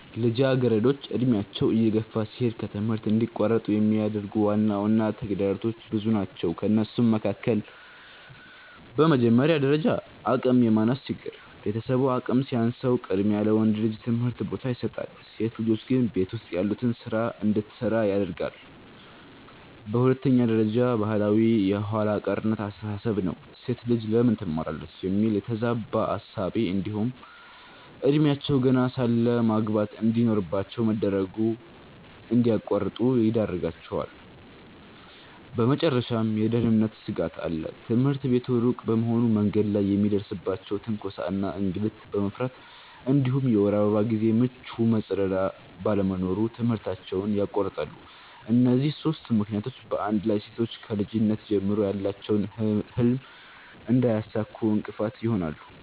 ልጃገረዶች ዕድሜያቸው እየገፋ ሲሄድ ከትምህርት እንዲቋረጡ የሚያደርጉ ዋና ተግዳሮቶች ብዙ ናቸው ከእነሱም መካከል፦ በመጀመሪያ ደረጃ አቅም የማነስ ችግር፤ ቤተሰቡ አቅም ሲያንሰው ቅድሚያ ለወንድ ልጅ ትምህርት ቦታ ይሰጣል፣ ሴት ልጆች ግን ቤት ውስጥ ያሉትን ስራ እንድትሰራ ያደርጋለየ። በሁለተኛ ደረጃ ባህላዊ የኋላ ቀርነት አስተሳሰብ ነው፤ "ሴት ልጅ ለምን ትማራለች?" የሚል የተዛባ እሳቤ እንዲሁም እድሜያቸው ገና ሳለ ማግባት እንድኖርባቸው መደረጉ እንድያቋርጡ ይዳርጋቸዋል። በመጨረሻም የደህንነት ስጋት አለ፤ ትምህርት ቤቱ ሩቅ በመሆኑ በመንገድ ላይ የሚደርስባቸውን ትንኮሳ እና እንግልት በመፍራት እንዲሁም የወር አበባ ጊዜ ምቹ መጸዳጃ ባለመኖሩ ትምህርታቸውን ያቋርጣሉ። እነዚህ ሦስቱ ምክንያቶች በአንድ ላይ ሴቶች ከልጅነት ጀምሮ ያላቸውን ህልም እንዳያሳኩ እንቅፋት ይሆናሉ።